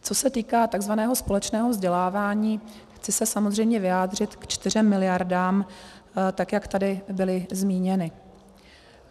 Co se týká takzvaného společného vzdělávání, chci se samozřejmě vyjádřit ke čtyřem miliardám, tak jak tady byly zmíněny.